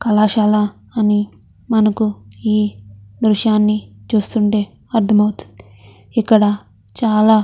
కళాశాల అని మనకు ఈ దృశ్యాన్ని చూస్తుంటే అర్దమవుతుంది. ఇక్కడ చాలా --